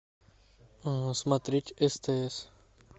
смотреть стс